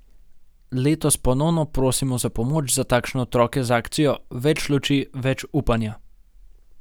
Letos ponovno prosimo za pomoč za takšne otroke z akcijo Več luči več upanja.